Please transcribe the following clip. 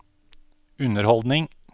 underholdning